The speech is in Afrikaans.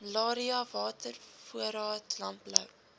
malaria watervoorraad landbou